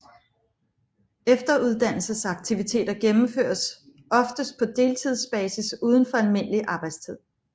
Efteruddannelsesaktiviteter gennemføres oftest på deltidsbasis uden for almindelig arbejdstid